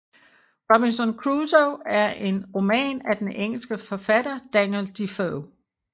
Robinson Crusoe er en roman af den engelske forfatter Daniel Defoe